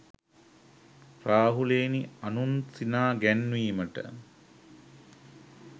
රාහුලයෙනි, අනුන් සිනා ගැන්වීමට